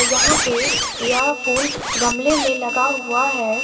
यहां पे यह फूल गमले में लगा हुआ है।